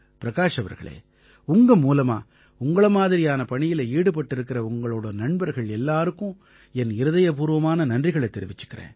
பிரகாஷ் அவர்களே உங்க மூலமா உங்களை மாதிரியான பணியில ஈடுபட்டிருக்கற உங்களோட நண்பர்கள் எல்லாருக்கும் என் இருதயபூர்வமான நன்றிகளைத் தெரிவிச்சுக்கறேன்